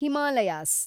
Himalayas